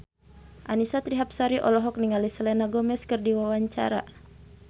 Annisa Trihapsari olohok ningali Selena Gomez keur diwawancara